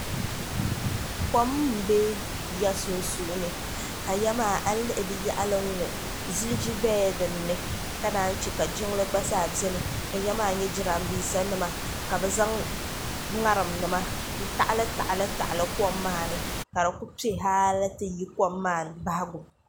kom n bɛ yiya sunsuuni ka yiya maa a yi lihi di yaɣali n ŋo ziliji biɛla dinni ka naan chɛ ka jiŋli gba zaa biɛni ka yiya maa nyɛ jiranbiisa nima ka bi zaŋ ŋarim jima n taɣali taɣali taɣali kom maa ni ka di ku piɛ dinni halli ti yi di bahagu